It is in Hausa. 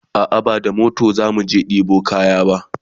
a'a ba da mota zamu je ɗebo kaya ba